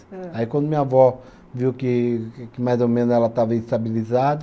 Aí quando minha avó viu que que mais ou menos ela estava estabilizada